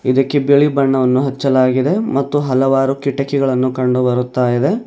ಇದಕ್ಕೆ ಬಿಳಿ ಬಣ್ಣವನ್ನು ಹಚ್ಚಲಾಗಿದೆ ಮತ್ತು ಹಲವಾರು ಕಿಟಕಿಗಳನ್ನು ಕಂಡು ಬರುತ್ತಾಇದೆ.